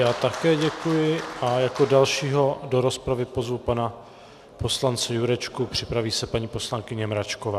Já také děkuji a jako dalšího do rozpravy pozvu pana poslance Jurečku, připraví se paní poslankyně Mračková.